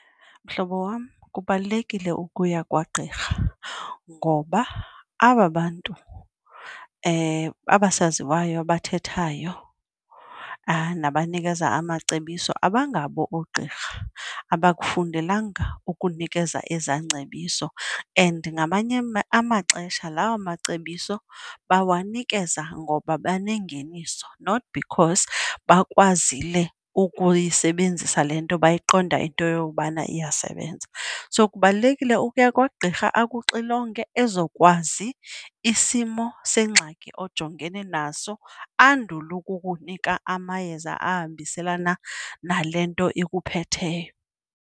Mhlobo wam, kubalulekile ukuya kwagqirha ngoba aba bantu, abasaziwayo abathethayo nabanikeza amacebiso abangabo oogqirha. Abakufundelanga ukunikela eza ngcebiso and ngamanye amaxesha lawo macebiso bawanikeza ngoba banengeniso not because bakwazile ukuyisebenzisa le nto bayayiqonda into yokubana iyasebenza. So kubalulekile ukuya kwagqirha akuxilonge ezokwazi isimo sengxakini ojongene naso andule ukukunika amayeza ahambiselana nale nto ikuphetheyo.